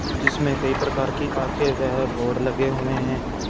जिसमें कई प्रकार की आंखें व बोर्ड लगे हुए हैं।